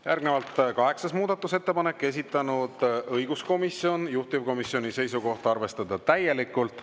Järgnevalt kaheksas muudatusettepanek, esitanud õiguskomisjon, juhtivkomisjoni seisukoht on arvestada täielikult.